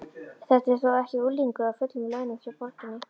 Þetta er þó ekki unglingur á fullum launum hjá borginni?